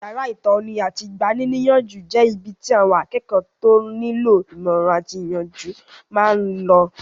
Yàrá ìtọ́ni àti igbaníniyànjú jẹ́ ibi tí àwọn akẹ́kọ̀ọ́ tó nílò ìmọ̀ràn àti ìyànjú máa n lọ